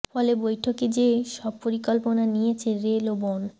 ফলে বৈঠকে যে সব পরিকল্পনা নিয়েছে রেল ও বন